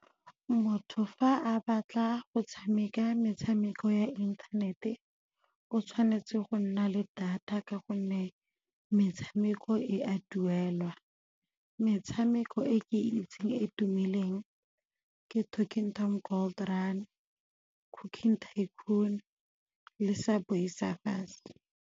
Motho fa a batla go tshameka metshameko ya inthanete o tshwanetse go nna le data ka gonne metshameko e a duelwa. Metshameko e ke itseng e e tumileng ke Talking Tom Gold Run, Cooking Tycoon le Subway Surfers.